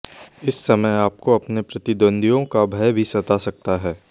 इस समय आपको अपने प्रतिद्वंदियों का भय भी सता सकता है